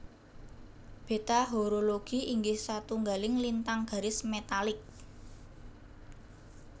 Beta Horologi inggih satunggaling lintang garis metalik